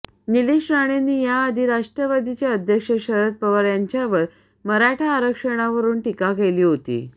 निलेश राणेंनी याआधी राष्ट्रवादीचे अध्यक्ष शरद पवार यांच्यावर मराठा आरक्षणावरून टीका केली होती